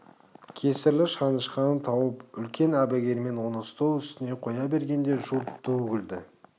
кесірлі шанышқыны тауып үлкен әбігермен оны стол үстіне қоя бергенде жұрт ду күлді